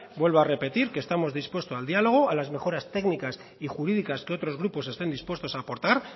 vuelvo a repetir que estamos dispuestos al diálogo a las mejoras técnicas y jurídicas que otros grupos estén dispuestos a aportar